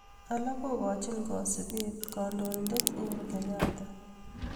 Alak kokochin kasubet kandoindet uhuru kenyatta.